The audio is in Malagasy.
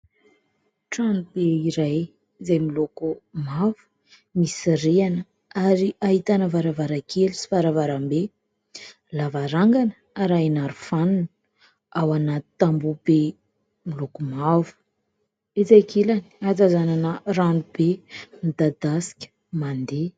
Tranobe iray izay miloko mavo misy rihana ary ahitana varavarakely sy varavarambe lavarangana, arahina harofanina ao anaty tambohobe miloako mavo etsy ankilany hatazanana ranobe midadasika mandeha.